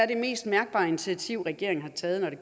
det mest mærkbare initiativ som regeringen har taget det